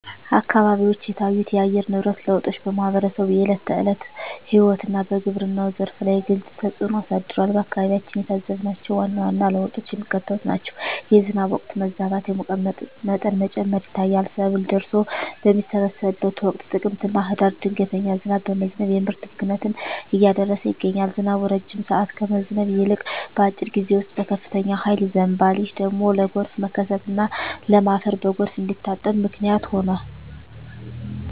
አካባቢዎች የታዩት የአየር ንብረት ለውጦች በማኅበረሰቡ የዕለት ተዕለት ሕይወትና በግብርናው ዘርፍ ላይ ግልጽ ተፅእኖ አሳድረዋል። በአካባቢያችን የታዘብናቸው ዋና ዋና ለውጦች የሚከተሉት ናቸው፦ የዝናብ ወቅት መዛባት፣ የሙቀት መጠን መጨመር ይታያል። ሰብል ደርሶ በሚሰበሰብበት ወቅት (ጥቅምትና ህዳር) ድንገተኛ ዝናብ በመዝነብ የምርት ብክነትን እያደረሰ ይገኛል። ዝናቡ ረጅም ሰዓት ከመዝነብ ይልቅ፣ በአጭር ጊዜ ውስጥ በከፍተኛ ኃይል ይዘንባል። ይህ ደግሞ ለጎርፍ መከሰትና ለም አፈር በጎርፍ እንዲታጠብ ምክንያት ሆኗል።